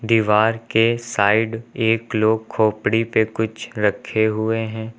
दीवार के साइड एक लोग खोपड़ी पे कुछ रखे हुए हैं।